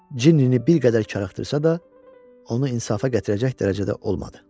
Cinnini bir qədər karıxdırsa da, onu insafa gətirəcək dərəcədə olmadı.